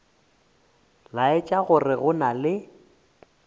laetša gore go na le